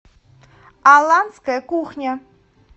аланская кухня